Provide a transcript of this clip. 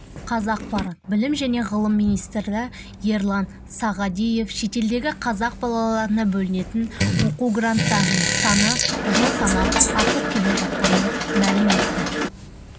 қазақпарат білім және ғылым министрі ерлан сағадиев шетелдегі қазақ балаларына бөлінетін оқу гранттарының саны жыл санап артып келе жатқанын мәлім етті